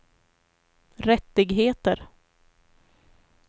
rättigheter